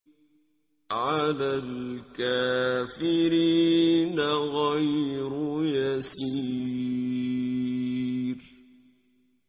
عَلَى الْكَافِرِينَ غَيْرُ يَسِيرٍ